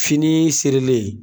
Fini sɛrilen